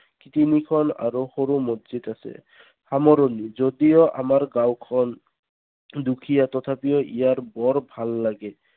তিনিখন আৰু সৰু মছজিদ আছে। সামৰণি যদিও আমাৰ গাওঁখন দুখীয়া তথাপিও ইয়াৰ বৰ ভাল লাগে।